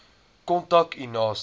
kontak u naaste